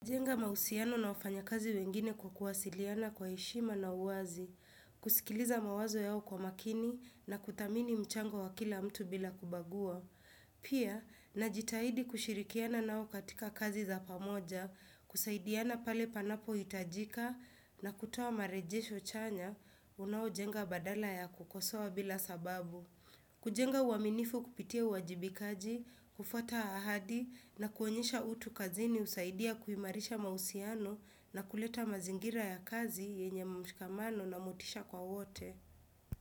Jenga mahusiano na wafanyakazi wengine kwa kuwasiliana kwa heshima na uwazi, kusikiliza mawazo yao kwa makini na kuthamini mchango wa kila mtu bila kubagua. Pia, najitahidi kushirikiana nao katika kazi za pamoja, kusaidiana pale panapohitajika na kutoa marejesho chanya, unaojenga badala ya kukosoa bila sababu. Kujenga uaminifu kupitia uwajibikaji, kufwata ahadi na kuonyesha utu kazini husaidia kuimarisha mahusiano na kuleta mazingira ya kazi yenye mshikamano na motisha kwa wote.